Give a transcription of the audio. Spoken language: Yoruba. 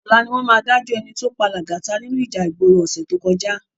Òlá niwòn má dájò èní tó pá Lagata ninú íjà igbóró òsè tókòjá